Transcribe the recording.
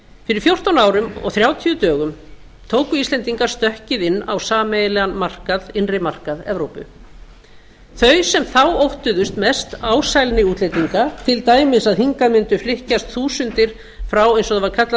fyrir fjórtán árum og þrjátíu dögum tóku íslendingar stökkið inn á sameiginlegan innri markað evrópu þau sem þá óttast mest ásælni útlendinga til dæmis að hingað mundu flykkjast þúsundir frá eins og það var kallað